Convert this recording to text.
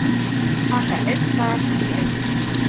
Taka einn dag í einu